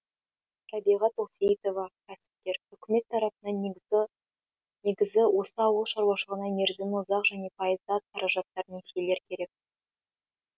рәбиға тоқсейітова кәсіпкер үкімет тарапынан негізі негізі осы ауыл шаруашылығына мерзімі ұзақ және пайызы аз қаражаттар несиелер керек